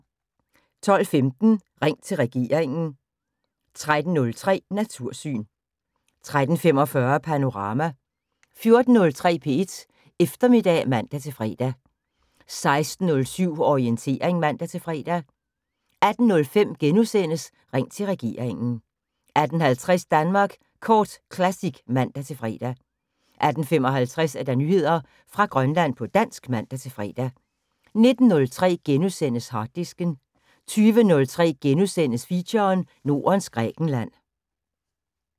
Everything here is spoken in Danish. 12:15: Ring til regeringen 13:03: Natursyn 13:45: Panorama 14:03: P1 Eftermiddag (man-fre) 16:07: Orientering (man-fre) 18:05: Ring til regeringen * 18:50: Danmark Kort Classic (man-fre) 18:55: Nyheder fra Grønland på dansk (man-fre) 19:03: Harddisken * 20:03: Feature: Nordens Grækenland *